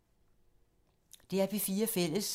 DR P4 Fælles